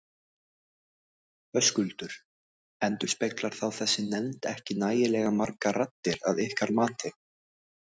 Höskuldur: Endurspeglar þá þessi nefnd ekki nægilega margar raddir að ykkar mati?